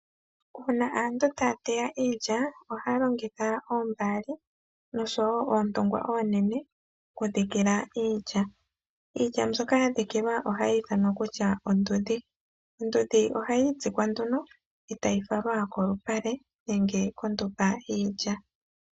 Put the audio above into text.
Uuna aantu taya teya iilya ohaya longitha oombaali nosho woo oontungwa oonene okudhikila iilya. Iilya mbyoka yazikilwa ohayi ithanwa kusha oondhudhi. Ondudhi ohayi itsikwa nduno ee tayi falwa kolupale nenge kondumba yiilya.